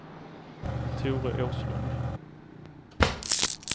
Tore Åslund